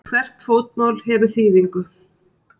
Hvert fótmál hefur þýðingu.